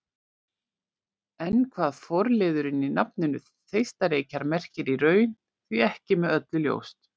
En hvað forliðurinn í nafninu Þeistareykir merkir í raun er því ekki með öllu ljóst.